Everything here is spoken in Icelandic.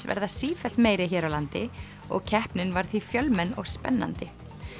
verða sífellt meiri hér á landi og keppnin var því fjölmenn og spennandi